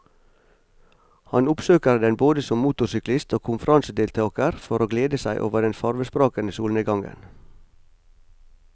Han oppsøker den både som motorsyklist og konferansedeltager for å glede seg over den farvesprakende solnedgangen.